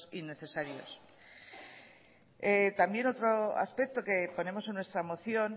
innecesarios también otro aspecto que ponemos en nuestra moción